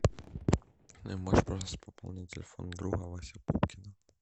можешь пожалуйста пополнить телефон друга васи пупкина